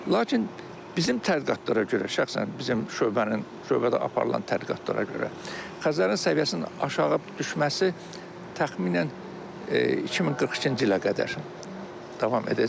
Lakin bizim tədqiqatlara görə, şəxsən bizim şöbənin, şöbədə aparılan tədqiqatlara görə, Xəzərin səviyyəsinin aşağı düşməsi təxminən 2042-ci ilə qədər davam edəcək.